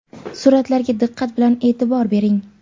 Suratlarga diqqat bilan e’tibor bering!.